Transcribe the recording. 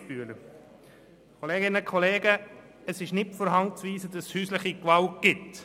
Geissbühler: Es ist nicht von der Hand zu weisen, dass es häusliche Gewalt gibt.